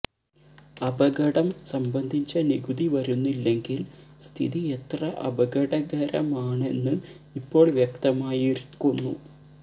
അപകടം സംബന്ധിച്ച നികുതി വരുന്നില്ലെങ്കിൽ സ്ഥിതി എത്ര അപകടകരമാണെന്ന് ഇപ്പോൾ വ്യക്തമായിരിക്കുന്നു